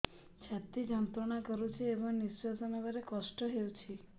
ଛାତି ଯନ୍ତ୍ରଣା କରୁଛି ଏବଂ ନିଶ୍ୱାସ ନେବାରେ କଷ୍ଟ ହେଉଛି